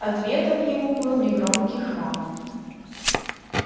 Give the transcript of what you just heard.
ответом ему был негромкий храп